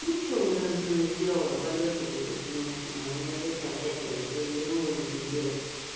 вот она со мной сделала бабек этот момент у меня просто опять короче развернуло на пиздец